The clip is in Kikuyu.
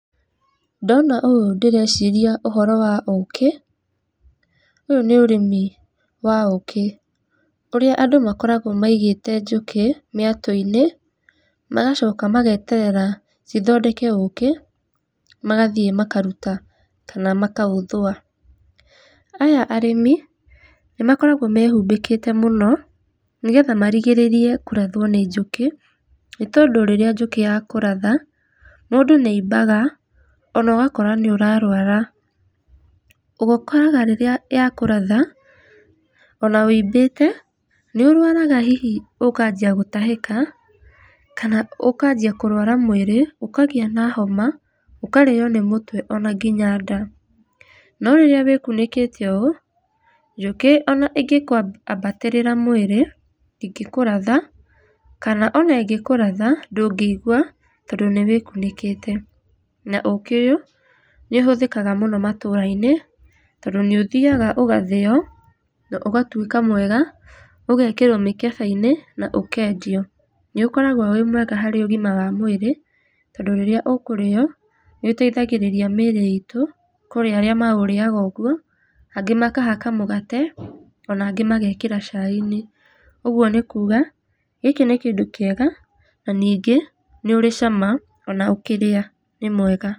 Ndona ũũ ndĩreciria ũhoro wa ũkĩ, ũyũ nĩ ũrĩmi wa ũkĩ ũrĩa andũ makoragwo maigĩte njũkĩ mĩatũ-inĩ magacoka mageterera cithondeke ũkĩ magathĩe makaruta kana makaũthũa. Aya arĩmi nĩmakoragwo mehumbĩkĩte mũno nĩgetha marigĩrĩrie kũrathwo nĩ njũkĩ nĩ tondũ rĩrĩa njũkĩ ya kũratha mũndũ nĩ aimbaga ona ũgakora nĩ ũrarwara ũkoraga rĩrĩa yakũratha ona wĩimbĩte nĩ ũrwaraga hihi ũkanjia gũtahĩka kana ũkanjia kũrwara mũĩrĩ ũkagĩa na homa, ũkarĩo nĩ mũtwe ona nginya ndaa. No rĩrĩa wĩkunĩkĩte ũũ njũkĩ ona ĩngĩngwabatĩrĩra mwĩrĩ ndĩngĩkũratha kana ona ĩngĩkũratha ndũngĩugua tondũ nĩ wĩkunĩkĩte. Na ũkĩ ũyũ nĩ ũhũthĩkaga mũno matũra-inĩ tondũ nĩ ũthiaga ũgathĩo na ũgatũĩka mwega ũgekĩrwo mĩkebe-inĩ na ũkendio. Nĩ ũkoragwo wĩ mwega harĩ ũgima wa mũĩrĩ tondũ rĩrĩa ũkũrĩo nĩ ũteithagĩrĩria mĩĩrĩ itũ. Kũrĩ arĩa maũrĩaga ũguo angĩ makahaka mũgate ona angĩ magekĩra cai-inĩ . Ũguo nĩ kuga gĩkĩ nĩ kĩndũ kĩega na ningĩ nĩ ũrĩ cama, ona ũkĩrĩa nĩ mwega.